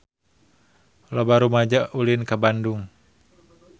Loba rumaja ulin ka Bandung